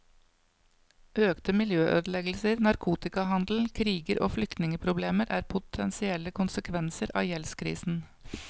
Økte miljøødeleggelser, narkotikahandel, kriger og flyktningeproblemer er potensielle konsekvenser av gjeldskrisen.